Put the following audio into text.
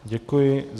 Děkuji.